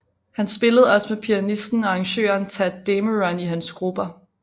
Han spillede også med pianisten og arrangøren Tadd Dameron i hans grupper